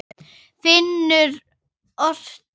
Finnur orti.